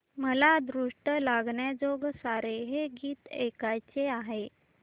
मला दृष्ट लागण्याजोगे सारे हे गीत ऐकायचे आहे